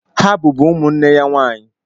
Ha bụbụ ụmụ nwanne ya nwaanyị.